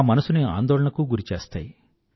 నా మనసుని ఆందోళనకు గురి చేస్తాయి